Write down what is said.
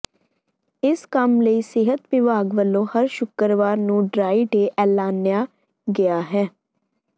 ਇਸ ਕੰਮ ਲਈ ਸਿਹਤ ਵਿਭਾਗ ਵੱਲੋਂ ਹਰ ਸ਼ੁੱਕਰਵਾਰ ਨੂੰ ਡਰਾਈ ਡੇਅ ਐਲਾਨਿਆ ਗਿਆ ਹੈ